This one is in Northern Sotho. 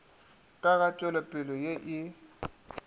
ka ga tšwelopele ye e